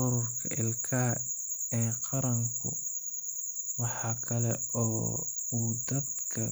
Ururka Ilkaha ee Qaranku waxa kale oo uu dadka